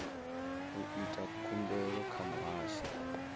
u ita khumbelo kha muhasho